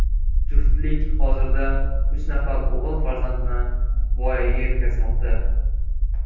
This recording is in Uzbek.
Juftlik hozirda uch nafar o‘g‘il farzandni voyaga yetkazmoqda.